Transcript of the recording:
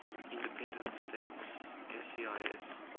independent states cis